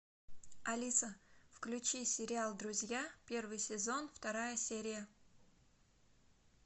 алиса включи сериал друзья первый сезон вторая серия